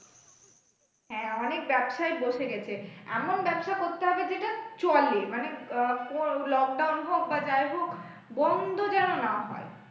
হ্যাঁ, অনেক ব্যবসায় বসে গেছে, এমন ব্যবসা করতে হবে যেটা চলে মানে আহ lockdown হোক বা যাই হোক, বন্ধ যেন না হয়।